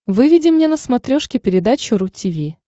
выведи мне на смотрешке передачу ру ти ви